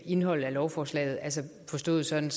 indholdet af lovforslaget altså forstået sådan